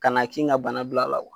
Ka naa k'i ka bana bila la wa